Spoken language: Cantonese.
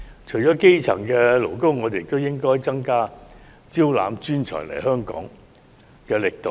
除基層勞工外，我們亦應增加招攬專才來港措施的力度。